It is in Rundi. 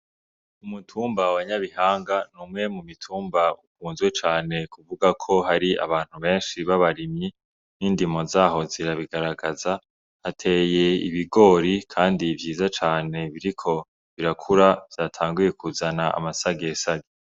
Umutumba wa nyabihanga n'umwe mu mitumba ikunzwe cane kuvugwa ko hari abantu benshi b'abarimyi n'indimo zaho zirabigaragaza hateye ibigori kandi vyiza cane biriko birakura vyatanguye kuzana amasage sage.